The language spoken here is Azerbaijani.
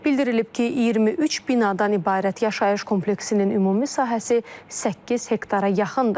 Bildirilib ki, 23 binadan ibarət yaşayış kompleksinin ümumi sahəsi 8 hektara yaxındır.